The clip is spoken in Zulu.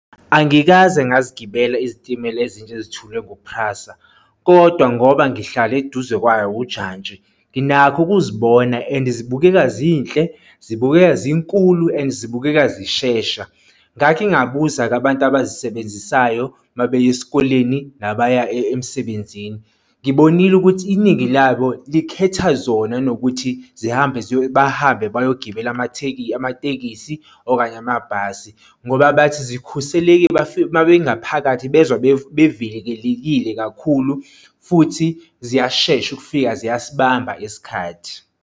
Angikaze ngazigibela izitimela ezintsha ezithulwe ngu-PRASA kodwa ngoba Ngihlale eduze kwayo ujantshi, nginakho ukuzibona and zibukeka zinhle zibukeka zinkulu and zibukeka zishesha. Ngake ngabuza-ke abantu abazisebenzisayo uma beya esikoleni nabaya emsebenzini. Ngibonile ukuthi iningi labo likhetha zona kunokuthi zihambe bahambe bayogibela amatekisi okanye amabhasi, ngoba bathi sikhuseleki uma bengaphakathi bezwa bevikelekile kakhulu futhi ziyashesha ukufika ziyasibamba isikhathi.